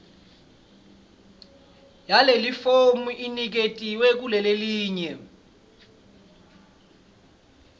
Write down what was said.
yalelifomu iniketiwe kulelelinye